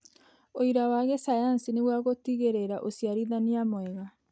ũira wa gĩcayanci nĩguo gũtigĩrĩra ũciarithania mwega.